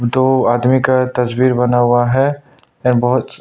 दो आदमी का तस्वीर बना हुआ है वह बोहोत --